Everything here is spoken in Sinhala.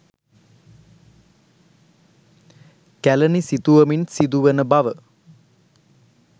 කැලණි සිතුවමින් සිදුවන බව